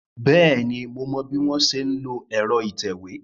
Bẹ́ẹ̀ni, mo mọ bí wọ́n ṣe ń lo ẹ̀rọ ìtẹ̀wé.